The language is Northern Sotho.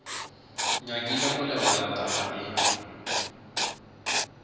nyakile go lebala taba ye